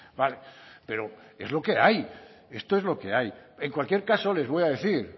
vale pero es lo que hay esto es lo que hay en cualquier caso les voy a decir